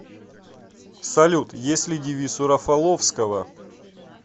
салют есть ли девиз у рафаловского